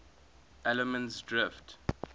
allemansdrift